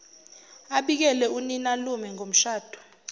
abikele uninalume ngomshado